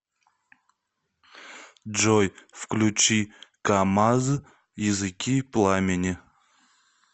джой включи камаз языки пламени